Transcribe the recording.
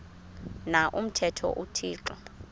na umthetho uthixo